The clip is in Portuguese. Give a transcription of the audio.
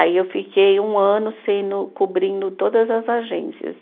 Aí eu fiquei um ano sendo, cobrindo todas as agências.